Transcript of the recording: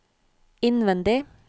innvendig